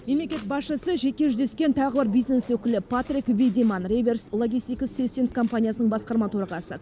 мемлекет басшысы жеке жүздескен тағы бір бизнес өкілі патрик видеманн реверс логистикс системс компаниясының басқарма төрағасы